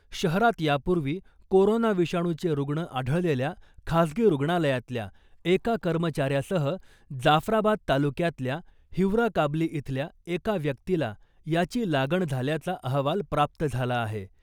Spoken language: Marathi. शहरात यापूर्वी कोरोना विषाणूचे रुग्ण आढळलेल्या खासगी रुग्णालयातल्या एका कर्मचाऱ्यासह जाफराबाद तालुक्यातल्या हिवरा काबली इथल्या एका व्यक्तीला याची लागण झाल्याचा अहवाल प्राप्त झाला आहे .